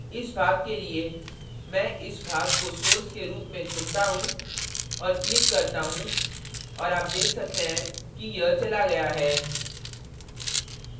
इस भाग के लिए मैं इस भाग को source के रूप में चुनता हूँ और click करता हूँ और आप देख सकते हैं कि यह चला गया है